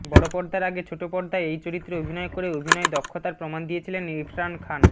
বড়পর্দার আগে ছোটপর্দায় এই চরিত্রে অভিনয় করে অভিনয়ে দক্ষতার প্রমাণ দিয়েছিলেন ইরফান খান